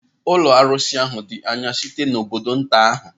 Ụlọ arụsị ahụ dị anya site n'obodo nta ahụ.